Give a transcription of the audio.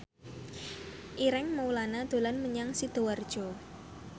Ireng Maulana dolan menyang Sidoarjo